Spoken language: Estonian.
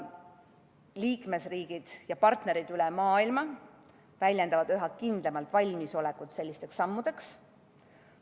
Liikmesriigid ja partnerid üle maailma väljendavad üha kindlamat valmisolekut sellisteks sammudeks.